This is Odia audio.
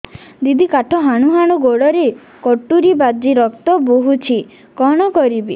ଦିଦି କାଠ ହାଣୁ ହାଣୁ ଗୋଡରେ କଟୁରୀ ବାଜି ରକ୍ତ ବୋହୁଛି କଣ କରିବି